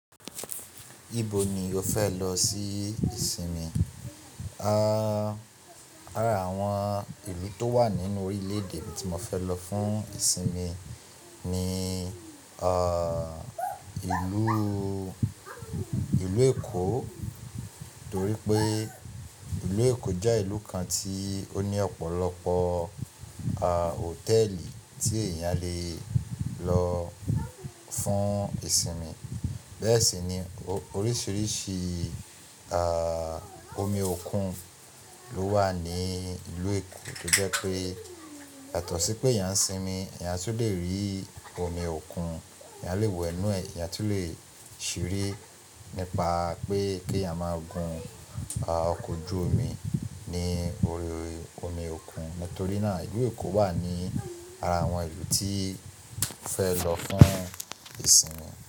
Ibo ni o fẹ lọ sí ìsinmi? Áàá, àrà àwọn ìlú tó wà nínú orílè-èdè tí mo fẹ lọ fún ìsinmi ni, ààh, ìlúù, ìlú Èkó torí pé ìlú Èkó jẹ́ ìlú kan tí ó ní ọ̀pọ̀lọpọ̀, ààh, hòtẹ́ẹ̀lì tí èèyàn le lọ fún ìsinmi. Bẹ́ẹ̀ sì ni oríṣìíríṣìí, ààh, omi òkun ló wà ní ìlú Èkó tó jẹ́ pé, yàtó sí pé èèyàn ń sinmi, èèyàn tún le rí omi òkun, èèyàn le wẹ̀ inú ẹ̀, èèyàn tun le ṣeré nípa pé k'eeyan máa gun, ààh, ọkọ̀ ojú omi ní orí omi òkun. Nítorí náà ìlú Èkó wà ní ara àwọn ìlú tí fẹ lọ fún ìsinmi.